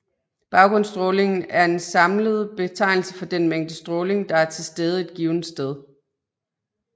Baggrundsstrålingen er en samlende betegnelse for den mængde stråling der er tilstede et givent sted